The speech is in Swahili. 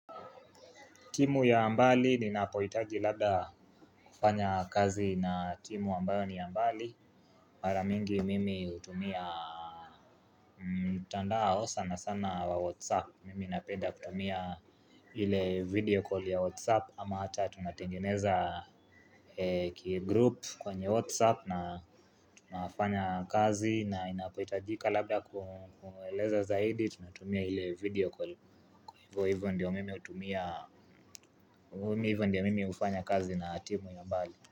Timu ya mbali ninapohitaji labda kufanya kazi na timu ambayo ni ya mbali mara mingi mimi hutumia mtandao sanasana wa whatsapp. Mimi napenda kutumia ile video call ya whatsapp. Ama hata tunatengeneza kigroup kwenye whatsapp. Na tunafanya kazi na inapohitajika labda kueleza zaidi. Tunatumia ile video call. Hivo hivo ndio mimi hutumia. Hivo hivo ndio mimi hufanya kazi na timu ya mbali.